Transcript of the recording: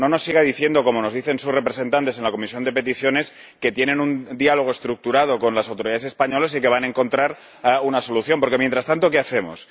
No nos siga diciendo, como nos dicen sus representantes en la Comisión de Peticiones, que mantienen un diálogo estructurado con las autoridades españoles y que van a encontrar una solución, porque mientras tanto, ¿qué hacemos?